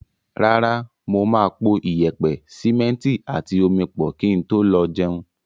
Rárá, mo máa po iyẹ̀pẹ̀, sìmẹ́ntì àti omi pọ̀ kí n tó lọ jẹun.